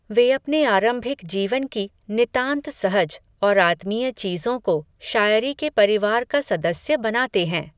वे अपने आरम्भिक जीवन की, नितान्त सहज, और आत्मीय चीज़ों को, शायरी के परिवार का सदस्य बनाते हैं